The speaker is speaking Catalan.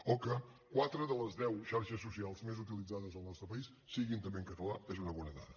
o que quatre de les deu xarxes socials més utilitzades al nostre país siguin també en català és una bona dada